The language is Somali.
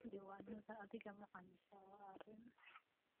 Diiwaanada adeegga macaamiisha waa arrin.